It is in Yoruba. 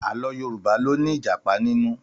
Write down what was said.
Àlọ́ Yorùbá ló ní Ìjàpá nínú